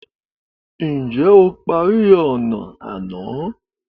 Ǹjẹ́ o parí ọnà àná?